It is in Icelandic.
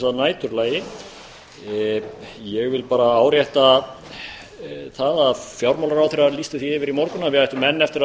að næturlagi ég vil bara árétta að fjármálaráðherra lýsti því yfir í morgun að við ættum enn eftir að